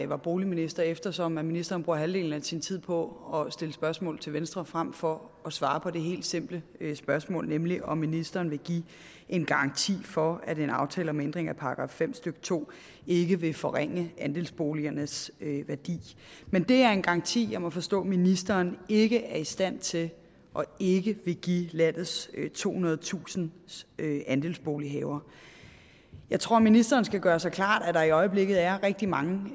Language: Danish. var boligminister eftersom ministeren bruger halvdelen af sin tid på at stille spørgsmål til venstre frem for at svare på det helt simple spørgsmål nemlig om ministeren vil give en garanti for at en aftale om ændring af § fem stykke to ikke vil forringe andelsboligernes værdi men det er en garanti jeg må forstå ministeren ikke er i stand til og ikke vil give landets tohundredetusind andelsbolighavere jeg tror ministeren skal gøre sig klart at der i øjeblikket er rigtig mange